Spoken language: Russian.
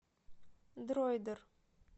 дроидер